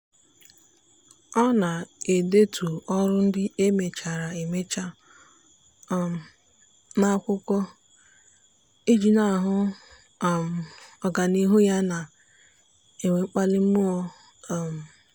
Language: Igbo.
ọ na-edetu ọrụ ndị e mechara emecha um n'akwụkwọ iji na-ahụ um ọganihu ya na-enwe mkpali mmụọ. um